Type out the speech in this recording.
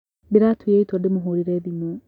Nĩndĩratuire itua ndĩmũhũrire thimũ